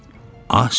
Az yedi,